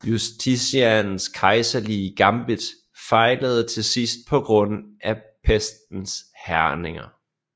Justinians kejserlige gambit fejlede til sidst på grund af pestens hærgninger